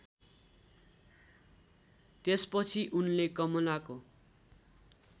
त्यसपछि उनले कमलाको